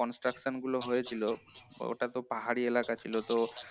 construction গুলো হয়েছিল ওটাতো পাহাড়ি এলাকায় ছিল তো